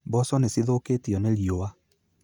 Mboco nĩ cithũkĩtio nĩ riũwa